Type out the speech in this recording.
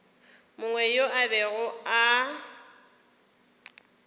mongwe yo a bego a